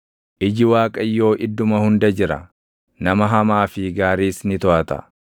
Iji Waaqayyoo idduma hunda jira; nama hamaa fi gaariis ni toʼata.